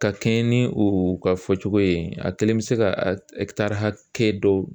Ka kɛɲɛ ni u ka fɔcogo ye a kelen bɛ se ka a hakɛ dɔw